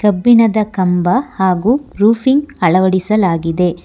ಕಬ್ಬಿಣದ ಕಂಬ ಹಾಗು ರೂಫಿಂಗ್ ಅಳವಡಿಸಲಾಗಿದೆ.